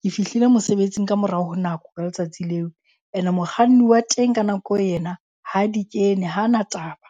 Ke fihlile mosebetsing ka morao ho nako ka letsatsi leo. Ene mokganni wa teng ka nako eo yena ha di kene ha na taba.